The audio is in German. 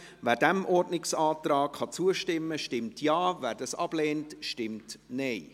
Wer diesem Ordnungsantrag zustimmen kann, stimmt Ja, wer dies ablehnt, stimmt Nein.